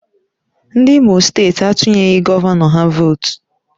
Ndị Imo steeti atunyeghị gọvanọ ha vootu